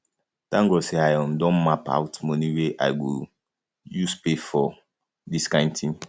thank god say i um don map out money wey i go um use pay for use pay for dis kin thing